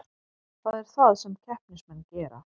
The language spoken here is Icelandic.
Það er það sem keppnismenn gera